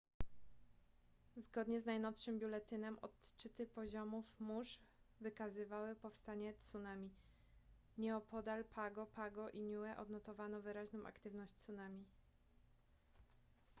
zgonie z najnowszym biuletynem odczyty poziomów mórz wykazywały powstanie tsunami nieopodal pago pago i niue odnotowano wyraźną aktywność tsunami